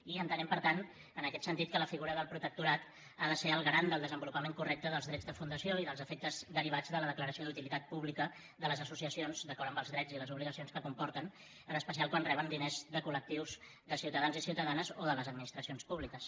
i entenem per tant en aquest sentit que la figura del protectorat ha de ser el garant del desenvolupament correcte dels drets de fundació i dels efectes derivats de la declaració d’utilitat pública de les associacions d’acord amb els drets i les obligacions que comporten en especial quan reben diners de col·lectius de ciutadans i ciutadanes o de les administracions públiques